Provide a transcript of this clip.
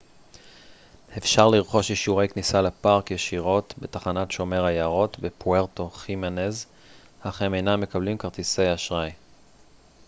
אפשר לרכוש אישורי כניסה לפארק ישירות בתחנת שומר היערות בפוארטו חימנז אך הם אינם מקבלים כרטיסי אשראי